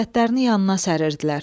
cəsədlərini yanına səriridilər.